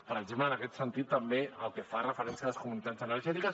per exemple en aquest sentit també pel que fa referència a les comunitats energètiques